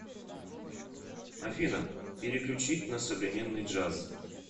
афина переключить на современный джаз